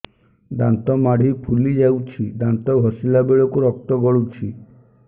ଦାନ୍ତ ମାଢ଼ୀ ଫୁଲି ଯାଉଛି ଦାନ୍ତ ଘଷିଲା ବେଳକୁ ରକ୍ତ ଗଳୁଛି